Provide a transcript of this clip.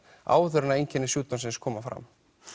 áður en einkenni sjúkdómsins koma fram